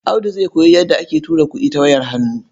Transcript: Audu zai koyi yadda ake tura kuɗi ta wayar hannu.